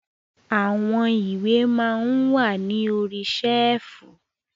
Àwọn ìwé maa ń wà ní orí ṣẹ́ẹ̀fù.